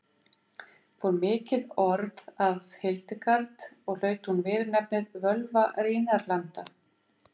Fór mikið orð af Hildegard og hlaut hún viðurnefnið Völva Rínarlanda.